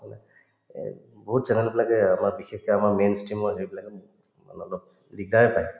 মানে এই বহুত channel বিলাকে আমাক বিশেষকে আমাক দিগদাৰে পায়